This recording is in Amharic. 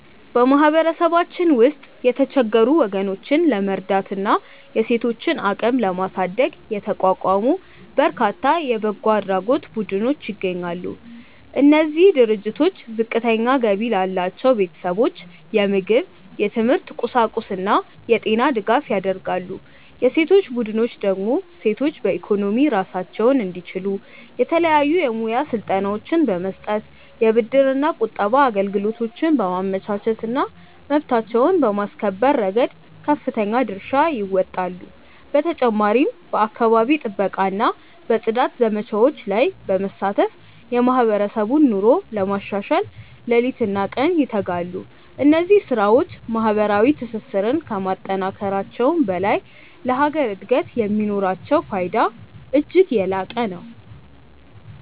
በማህበረሰባችን ውስጥ የተቸገሩ ወገኖችን ለመርዳትና የሴቶችን አቅም ለማሳደግ የተቋቋሙ በርካታ የበጎ አድራጎት ቡድኖች ይገኛሉ። እነዚህ ድርጅቶች ዝቅተኛ ገቢ ላላቸው ቤተሰቦች የምግብ፣ የትምህርት ቁሳቁስና የጤና ድጋፍ ያደርጋሉ። የሴቶች ቡድኖች ደግሞ ሴቶች በኢኮኖሚ ራሳቸውን እንዲችሉ የተለያዩ የሙያ ስልጠናዎችን በመስጠት፣ የብድርና ቁጠባ አገልግሎቶችን በማመቻቸትና መብታቸውን በማስከበር ረገድ ከፍተኛ ድርሻ ይወጣሉ። በተጨማሪም በአካባቢ ጥበቃና በጽዳት ዘመቻዎች ላይ በመሳተፍ የማህበረሰቡን ኑሮ ለማሻሻል ሌሊትና ቀን ይተጋሉ። እነዚህ ስራዎች ማህበራዊ ትስስርን ከማጠናከራቸውም በላይ ለሀገር እድገት የሚኖራቸው ፋይዳ እጅግ የላቀ ነው።